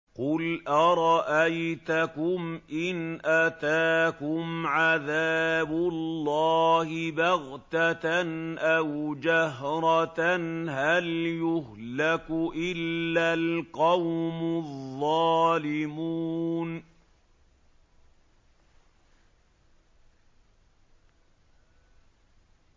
قُلْ أَرَأَيْتَكُمْ إِنْ أَتَاكُمْ عَذَابُ اللَّهِ بَغْتَةً أَوْ جَهْرَةً هَلْ يُهْلَكُ إِلَّا الْقَوْمُ الظَّالِمُونَ